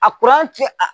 A